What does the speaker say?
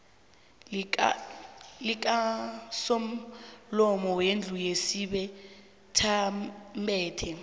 likasomlomo wendlu yesibethamthetho